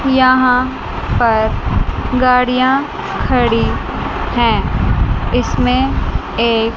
यहां पर गाड़ियां खड़ी हैं इसमें एक--